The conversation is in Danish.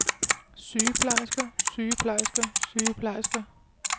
sygeplejersker sygeplejersker sygeplejersker